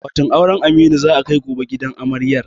Akwatin auren Aminu za a kai gobe gidan amaryar.